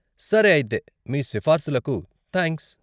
సరే అయితే, మీ సిఫారసులకు థాంక్స్.